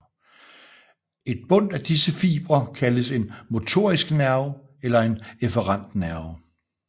Et bundt af disse fibre kaldes en motorisk nerve eller en efferent nerve